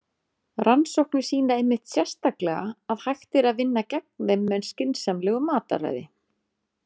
Rannsóknir sýna einmitt sérstaklega að hægt er vinna gegn þeim með skynsamlegu mataræði.